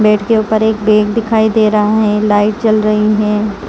Bed के ऊपर एक बेग दिखाई दे रहा है लाइट चल रही है।